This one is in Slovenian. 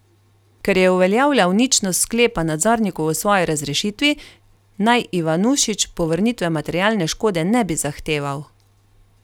Ker je uveljavljal ničnost sklepa nadzornikov o svoji razrešitvi, naj Ivanušič povrnitve materialne škode ne bi zahteval.